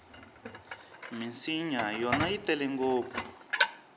minsinya yona yi tele ngopfu